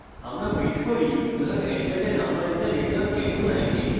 আমরা print করি you have entered a number in the range of 1019